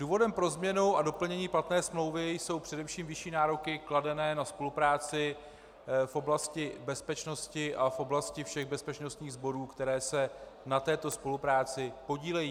Důvodem pro změnu a doplnění platné smlouvy jsou především vyšší nároky kladené na spolupráci v oblasti bezpečnosti a v oblasti všech bezpečnostních sborů, které se na této spolupráci podílejí.